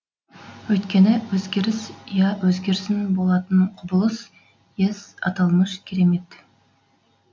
өйткені өзгеріс я өзгерсін болатын құбылыс ес аталмыш керемет